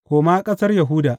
Koma ƙasar Yahuda.